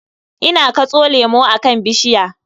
Ina katso lemu akan bishiya.